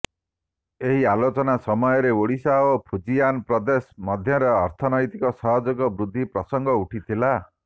ଏହି ଆଲୋଚନା ସମୟରେ ଓଡ଼ିଶା ଓ ଫୁଜିଆନ୍ ପ୍ରଦେଶ ମଧ୍ୟରେ ଅର୍ଥନ୘ତିକ ସହଯୋଗ ବୃଦ୍ଧି ପ୍ରସଙ୍ଗ ଉଠିଥିଲା